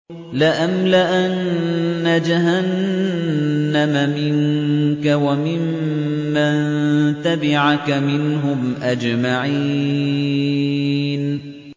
لَأَمْلَأَنَّ جَهَنَّمَ مِنكَ وَمِمَّن تَبِعَكَ مِنْهُمْ أَجْمَعِينَ